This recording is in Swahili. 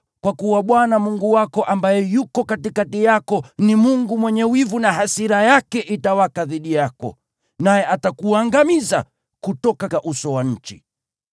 kwa kuwa Bwana Mungu wako, ambaye yuko katikati yako, ni Mungu mwenye wivu na hasira yake itawaka dhidi yako, naye atakuangamiza kutoka uso wa nchi.